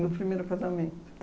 No primeiro casamento.